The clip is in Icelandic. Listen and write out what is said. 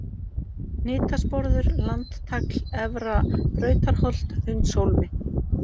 Hnitasporður, Landtagl, Efra-Brautarholt, Hundshólmi